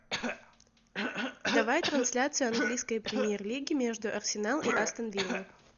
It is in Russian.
давай трансляцию английской премьер лиги между арсенал и астон вилла